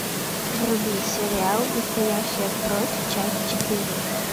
вруби сериал настоящая кровь часть четыре